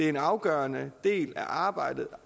en afgørende del af arbejdet